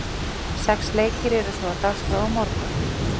Sex leikir eru svo á dagskrá á morgun.